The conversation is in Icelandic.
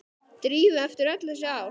Drífu eftir öll þessi ár.